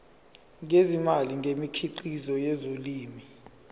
ngezimali ngemikhiqizo yezolimo